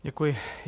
Děkuji.